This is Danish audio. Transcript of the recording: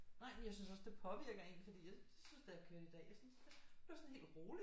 Nej men jeg synes også det påvirker en fordi jeg synes da jeg kørte i dag så blev jeg sådan helt rolig